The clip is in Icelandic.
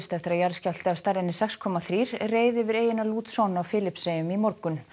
eftir að jarðskjálfti af stærðinni sex komma þrjú reið yfir eyjuna á Filippseyjum í morgun